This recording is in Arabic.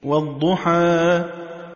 وَالضُّحَىٰ